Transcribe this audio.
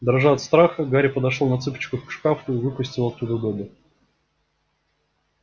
дрожа от страха гарри подошёл на цыпочках к шкафу и выпустил оттуда добби